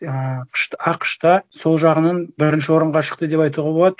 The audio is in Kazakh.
ыыы ақш та сол жағынан бірінші орынға шықты деп айтуға болады